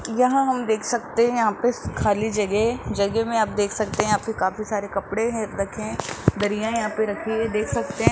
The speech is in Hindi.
यहां हम देख सकते हैं यहां पे खाली जगह है जगह में आप देख सकते हैं यहां पे काफी सारे कपड़े हैं रखें हैं दरिया यहां पे रखि हैं देख सकते हैं।